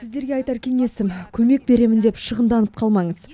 сіздерге айтар кеңесім көмек беремін деп шығынданып қалмаңыз